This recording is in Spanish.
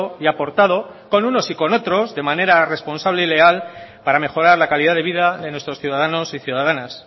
y ha aportado con unos y con otros de manera responsable y legal para mejorar la calidad de vida de nuestros ciudadanos y ciudadanas